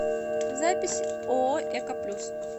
запись ооо эко плюс